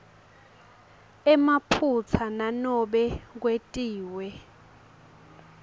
emaphutsa nanobe kwetiwe